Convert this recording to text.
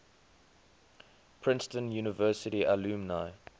princeton university alumni